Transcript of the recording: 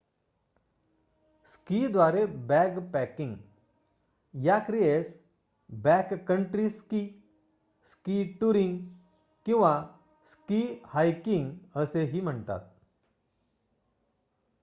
स्कीद्वारे backpacking या क्रियेस backcountry ski ski touring किंवा स्की हायकिंग असेही म्हणतात